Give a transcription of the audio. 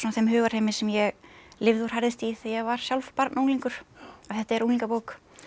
hugarheimi sem ég lifði og hrærðist í þegar ég var sjálf barn og unglingur og þetta er unglingabók